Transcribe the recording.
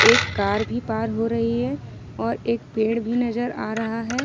एक कार भी पार हो रही है और एक पेड़ भी नजर आ रहा है ।